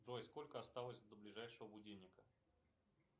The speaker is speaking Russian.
джой сколько осталось до ближайшего будильника